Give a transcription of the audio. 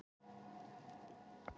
sunnudögunum